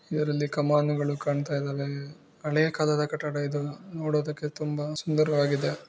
ಇದರಲ್ಲಿ ಕಮಾನುಗಳು ಕಾಣ್ತಾ ಇದ್ದಾವೆ. ಹಳೆ ಕಾಲದ ಕಟ್ಟಡ ಇದು ನೋಡೋದುಕ್ಕೆ ತುಂಬಾ ಸುಂದರವಾಗಿದೆ.